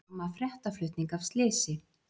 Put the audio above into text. Harma fréttaflutning af slysi